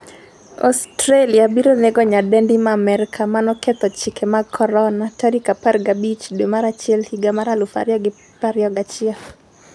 Australia biro nego nyadendi ma Amerka manoketho chike mag Corona' 15 dwe mar achiel 2021